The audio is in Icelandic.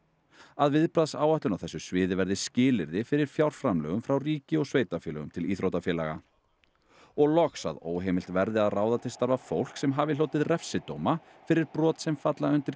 að viðbragðsáætlun á þessu sviði verði skilyrði fyrir fjárframlögum frá ríki og sveitarfélögum til íþróttafélags og loks að óheimilt verði að ráða til starfa fólk sem hafi hlotið refsidóma fyrir brot sem falla undir